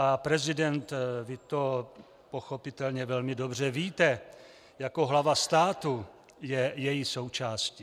A prezident, vy to pochopitelně velmi dobře víte, jako hlava státu je její součástí.